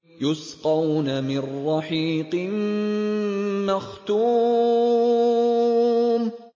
يُسْقَوْنَ مِن رَّحِيقٍ مَّخْتُومٍ